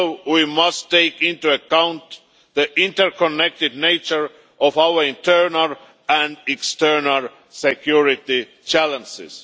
We must also take into account the interconnected nature of our internal and external security challenges.